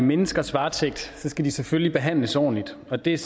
menneskers varetægt skal de selvfølgelig behandles ordentligt og det er